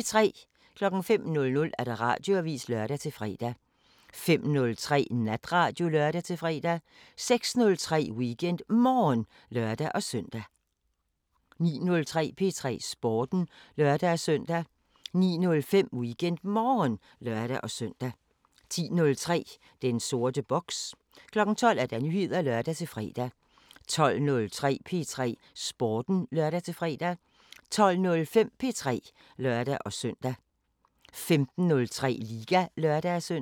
05:00: Radioavisen (lør-fre) 05:03: Natradio (lør-fre) 06:03: WeekendMorgen (lør-søn) 09:03: P3 Sporten (lør-søn) 09:05: WeekendMorgen (lør-søn) 10:03: Den sorte boks 12:00: Nyheder (lør-fre) 12:03: P3 Sporten (lør-fre) 12:05: P3 (lør-søn) 15:03: Liga (lør-søn)